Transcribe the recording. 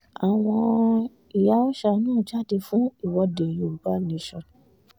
àwọn ìyá òòsa náà jáde fún ìwọ́de yorùbá nation